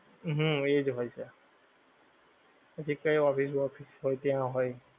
હમ એ જ હોય છે પછી કઈ office boxes હોય ત્યાં હોય